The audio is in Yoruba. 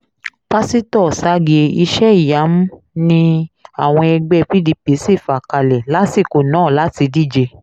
pásítọ̀ ọ̀sàgìẹ̀ iṣẹ́-ìyamù ni àwọn ẹgbẹ́ pdp sì fà kalẹ̀ lásìkò náà láti díje